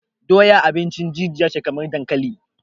Doya abincin jijiya ce kamar dankali